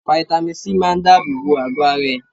Fáítámì Sí máa dábò bo àgọ́ ara ẹ.